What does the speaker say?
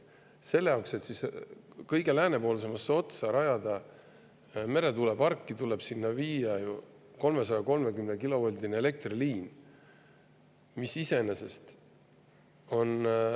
Selle jaoks, et kõige läänepoolsemasse otsa rajada meretuuleparki, tuleb sinna viia 330‑kilovoldine elektriliin, mis iseenesest …